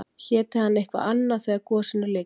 Héti hann eitthvað annað þegar gosinu lyki?